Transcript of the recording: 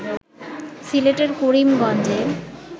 সিলেটের করিমগঞ্জে